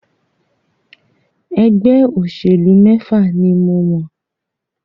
Ẹgbẹ́ òṣèlú mẹ́fà ni mọ̀.